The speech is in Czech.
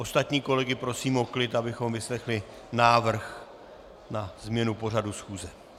Ostatní kolegy prosím o klid, abychom vyslechli návrh na změnu pořadu schůze.